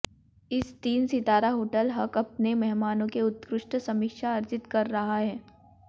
इस तीन सितारा होटल हक अपने मेहमानों के उत्कृष्ट समीक्षा अर्जित कर रहा है